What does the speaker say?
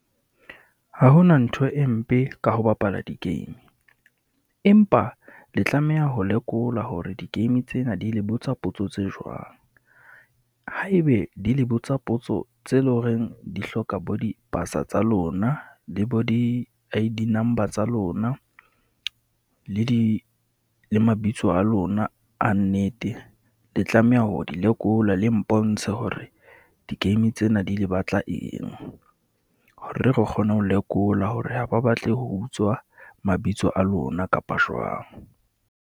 Ha ho na ntho e mpe ka ho bapala di-game, empa le tlameha ho lekola hore di-game tsena di le botsa potso tse jwang. Ha e be di le botsa potso tse leng horeng di hloka bo dipasa tsa lona, le bo di I_D number tsa lona. Le di, le mabitso a lona a nnete, le tlameha ho di lekola le mpontshe hore di-game tsena di le batla eng. Hore re kgone ho lekola hore ha ba batle ho utswa mabitso a lona kapa jwang.